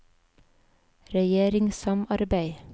regjeringssamarbeid